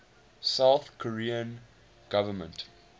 south korean government